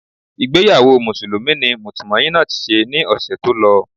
Ìgbéyàwó Mùsùlùmí ni Mutmainot ṣe ní ọ̀ṣẹ̀ tó lọ